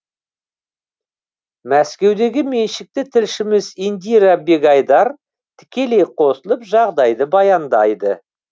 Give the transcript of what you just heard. мәскеудегі меншікті тілшіміз индира бегайдар тікелей қосылып жағдайды баяндайды